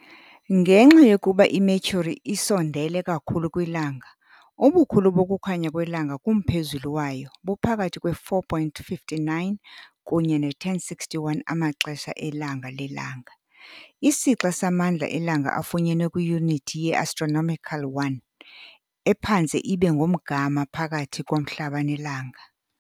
Ngenxa yokuba iMercury isondele kakhulu kwiLanga, ubukhulu bokukhanya kwelanga kumphezulu wayo buphakathi kwe-4.59 kunye ne-10.61 amaxesha elanga lelanga, isixa samandla eLanga afunyenwe kwiyunithi ye-astronomical 1, ephantse ibe ngumgama phakathi koMhlaba neLanga.